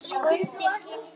Skundi skyldi hann heita.